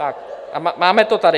A máme to tady.